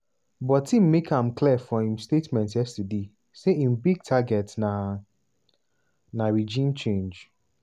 but im make am clear for im statement yesterday say im big target na na regime change.